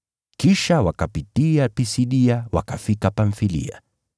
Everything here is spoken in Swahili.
Kisha wakapitia Pisidia wakafika Pamfilia.